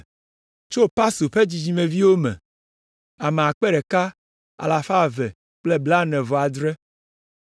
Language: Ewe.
Tso Pasur ƒe dzidzimeviwo me, ame akpe ɖeka alafa eve kple blaene-vɔ-adre (1,247).